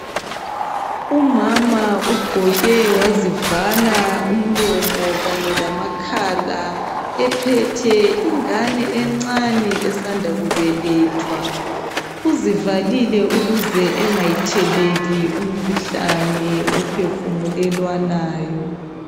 Umama ugqoke wazivala umlomo kanye lamakhala ephethe ingane encane esanda kubelethwa uzivalile ukuze engayitheleli umkhuhlane uphefumulelwanayo